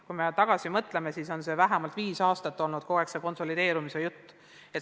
Kui me tagasi mõtleme, siis vähemalt viis aastat on aetud seda konsolideerumise juttu.